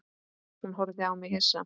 Hún horfði á mig hissa.